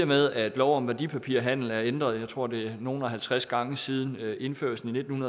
med at lov om værdipapirhandel er ændret jeg tror det er nogle og halvtreds gange siden indførelsen i nitten